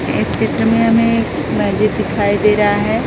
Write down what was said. इस चित्र में हमें एक मस्जिद दिखाई दे रहा है।